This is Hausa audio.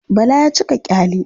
Bala ya cika ƙyale.